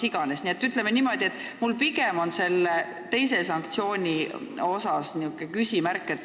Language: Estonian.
Nii et minul tekib selle teise sanktsiooni kohta küll küsimusi.